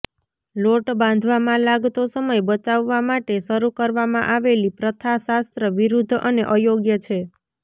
લોટ બાંધવામાં લાગતો સમય બચાવવા માટે શરૂ કરવામા આવેલી પ્રથા શાસ્ત્ર વિરુદ્ધ અને અયોગ્ય છે